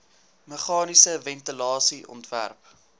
meganiese ventilasie ontwerp